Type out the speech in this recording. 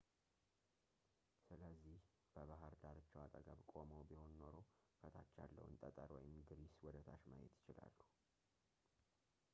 ስለዚህ በባህር ዳርቻው አጠገብ ቆመው ቢሆን ኖሮ ከታች ያለውን ጠጠር ወይም ግሪስ ወደታች ማየት ይችላሉ